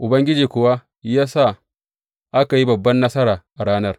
Ubangiji kuwa ya sa aka yi babban nasara a ranar.